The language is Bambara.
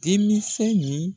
Denmisɛn nin